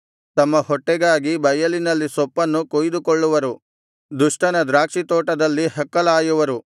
ತಮ್ಮ ಹೊಟ್ಟೆಗಾಗಿ ಬಯಲಿನಲ್ಲಿ ಸೊಪ್ಪನ್ನು ಕೊಯ್ದುಕೊಳ್ಳುವರು ದುಷ್ಟನ ದ್ರಾಕ್ಷಿತೋಟದಲ್ಲಿ ಹಕ್ಕಲಾಯುವರು